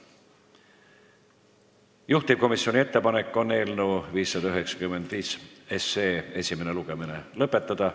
Juhtivkomisjoni ettepanek on eelnõu 595 esimene lugemine lõpetada.